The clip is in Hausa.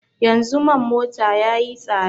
Yanzu man mota ya yi tsada